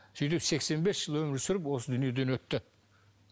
сөйтіп сексен бес жыл өмір сүріп осы дүниеден өтті